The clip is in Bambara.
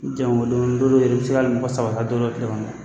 Ni jama ma bɔ don dɔw yɛrɛ i bɛ se ka hali mɔgɔ saba tile kɔnɔ